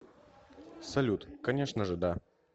салют конечно же да